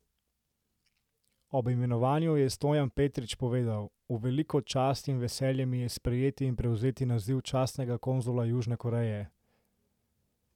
Ob imenovanju je Stojan Petrič povedal: 'V veliko čast in veselje mi je sprejeti in prevzeti naziv častnega konzula Južne Koreje.